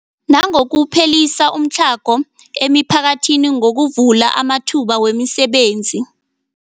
Nangokuphelisa umtlhago emiphakathini ngokuvula amathuba wemisebenzi.